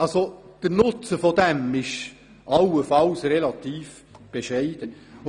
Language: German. Der Nutzen fällt allenfalls relativ bescheiden aus.